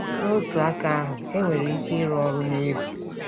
N'otu aka ahụ, enwere ike ịrụ ọrụ na egwu.